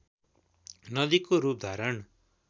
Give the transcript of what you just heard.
नदीको रूप धारण